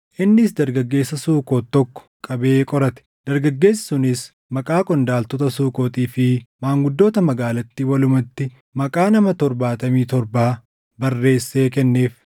Innis dargaggeessa Sukoot tokko qabee qorate; dargaggeessi sunis maqaa qondaaltota Sukootii fi maanguddoota magaalattii walumatti maqaa nama torbaatamii torba barreessee kenneef.